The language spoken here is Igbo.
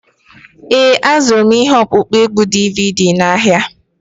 Ee, azụrụm ihe ọkpụkpọ égwù DVD ụnyahụ.